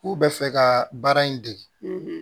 K'u bɛ fɛ ka baara in dege